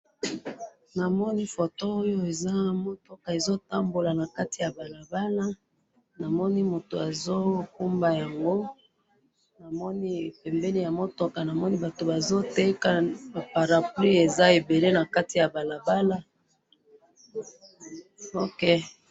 namoni foto oyo eza mutuka ezo tambola nakati ya balabala namomi mutu azo kumba yango namoni pembeni ya mutuka batu bazo teka ba parapluies ezaebele nakati ya balabala ok.